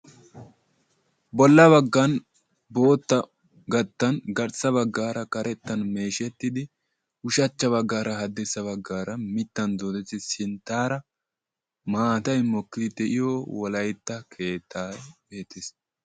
bola bagan bootta gattan garssa bagaara karetan meeshetidi ushacha bagaara haddirssa bagaara mitan diretidi sintaara maataay mokkidi de'iyo wolaytta keettaa besees.